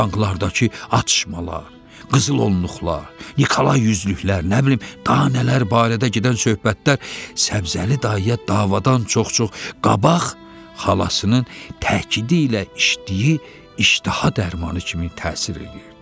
Banklardakı atışmalar, qızılonluqlar, Nikolay yüzlüklər, nə bilim, danələr barədə gedən söhbətlər Səbzəli dayıya davadan çox-çox qabaq xalasının təkidilə işdiyi iştaha dərmanı kimi təsir eləyirdi.